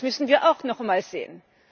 Das müssen wir auch nochmal sehen.